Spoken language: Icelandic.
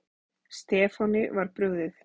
Stefáni var brugðið.